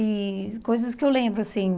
E coisas que eu lembro, assim.